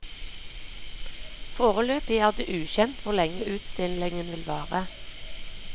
Foreløpig er det ukjent hvor lenge utstillingen vil vare.